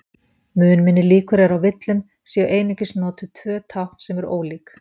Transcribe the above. Mun minni líkur eru á villum séu einungis notuð tvö tákn sem eru ólík.